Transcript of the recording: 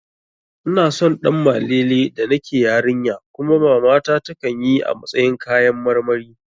Ina son Ɗanmalele da nake yarinya kuma mamata takan yi a matsayin kayan karmari